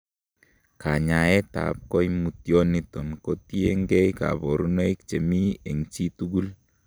Kanyaetab koimutyoniton kotiengei koborunoik chemi en chi tugul.